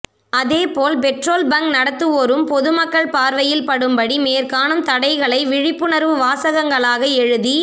அதேபோல் petrol bunk நடத்துவோரும் பொதுமக்கள் பார்வையில் படும்படி மேற்காணும் தடைகளை விழிப்புணர்வு வாசகங்களாக எழுதி